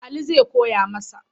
Ali zai koya masa.